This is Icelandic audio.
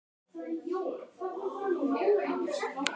Fjölskyldan þarf ekki lengur að borða öll í einu.